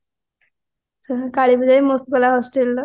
ସବୁ କାଳୀ ପୂଜା ବି ମସ୍ତ ଥିଲା hostelର